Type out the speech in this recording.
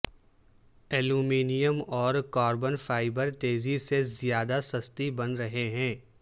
aluminium اور carbon fibre تیزی سے زیادہ سستی بن رہے ہیں